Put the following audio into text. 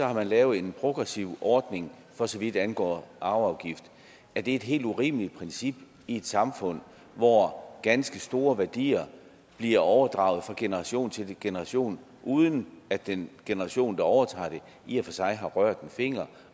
har lavet en progressiv ordning for så vidt angår arveafgift er det et helt urimeligt princip i et samfund hvor ganske store værdier bliver overdraget fra generation til generation uden at den generation der overtager det i og for sig har rørt en finger